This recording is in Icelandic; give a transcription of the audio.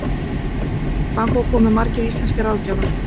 Þangað komu margir íslenskir ráðgjafar.